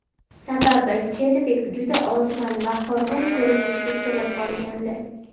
Sababi Chedvik juda ozg‘in va horg‘in ko‘rinishga kelib qolgandi.